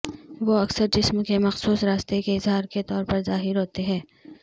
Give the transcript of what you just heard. وہ اکثر جسم کے مخصوص راستے کے اظہار کے طور پر ظاہر ہوتے ہیں